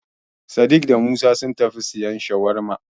Sadik da Musa sun tafi siyan Shawarma.